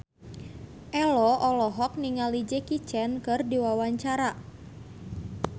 Ello olohok ningali Jackie Chan keur diwawancara